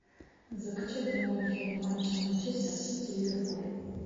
закачай прямой эфир матча манчестер сити ливерпуль